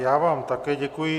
Já vám také děkuji.